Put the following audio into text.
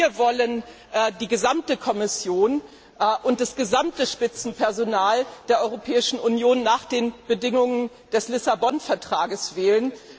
Wir wollen die gesamte Kommission und das gesamte Spitzenpersonal der Europäischen Union nach den Bedingungen des Lissabon Vertrages wählen.